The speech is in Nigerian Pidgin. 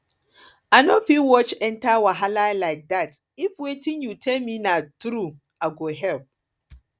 i no fit watch enter wahala like dat if wetin you tell me na through i go help